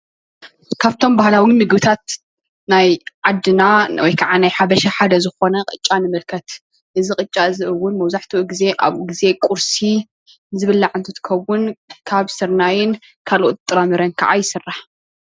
ካብቶም ባህላዊ ምግብታት ናይ ዓደና ወይካዓ ናይ ሓበሻ ሓደ ዝኾነ ቅጫ ንምልከት እዚ ቅጫ እውን መብዛሕቲኡ ግዜ ኣብ ቁርሲ ቁርሲ ዝብላዕ እንትኸውን ካብ ስርናይን ካልኦት ጥራምረ ካዓ ይስራሕ።